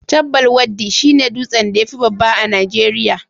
Chabbal Waddi shi ne dutsen da ya fi babba a Najeriya